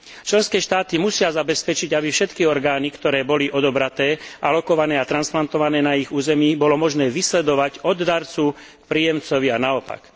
Členské štáty musia zabezpečiť, aby všetky orgány, ktoré boli odobraté, alokované a transplantované na ich území, bolo možné vysledovať od darcu k príjemcovi a naopak.